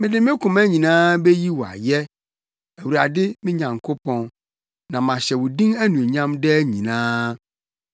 Mede me koma nyinaa meyi wo ayɛ, Awurade me Nyankopɔn na mahyɛ wo din anuonyam daa nyinaa.